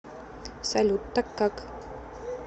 салют так как